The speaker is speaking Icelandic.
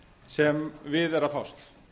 sem við er að fást